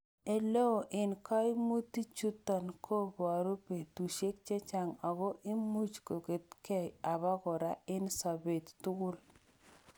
Oleoo en koimutichuton kobure betusiek chechang' ago imuch koketkei obokora en sobet tugul.